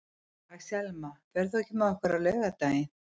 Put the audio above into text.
Axelma, ferð þú með okkur á laugardaginn?